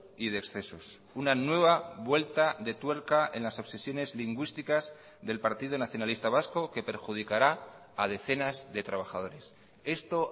y de excesos una nueva vuelta de tuerca en las obsesiones lingüísticas del partido nacionalista vasco que perjudicará a decenas de trabajadores esto